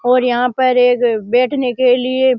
और यहां पर एक बैठने के लिये --